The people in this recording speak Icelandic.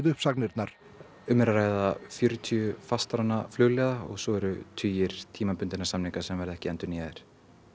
uppsagnirnar um er að ræða fjörutíu fastráðna flugliða og svo eru tugir tímabundinna samninga sem verða ekki endurnýjaðir